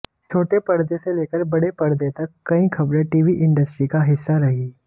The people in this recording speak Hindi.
छोटे पर्दे से लेकर बड़े पर्दे तक कई खबरें टीवी इंडस्ट्री का हिस्सा रही